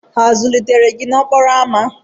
A zụlitere gị n'okporo ámá?